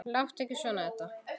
Láttu ekki svona, Edda.